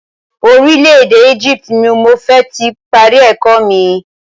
Orílẹ̀ èdè Egypt ni mo ti fẹ́ parí ẹ̀kọ́ mi.